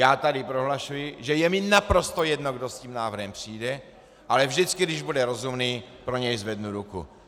Já tady prohlašuji, že je mi naprosto jedno, kdo s tím návrhem přijde, ale vždycky, když bude rozumný, pro něj zvednu ruku.